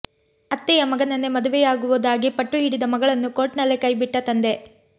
ಅತ್ತೆಯ ಮಗನನ್ನೇ ಮದುವೆಯಾಗುವುದಾಗಿ ಪಟ್ಟು ಹಿಡಿದ ಮಗಳನ್ನು ಕೋರ್ಟ್ನಲ್ಲೇ ಕೈ ಬಿಟ್ಟ ತಂದೆ